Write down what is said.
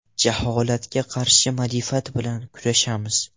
Jaholatga qarshi ma’rifat bilan kurashamiz!